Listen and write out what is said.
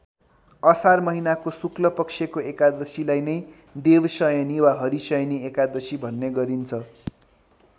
असार महिनाको शुक्लपक्षको एकादशीलाई नै देवशयनी वा हरिशयनी एकादशी भन्ने गरिन्छ।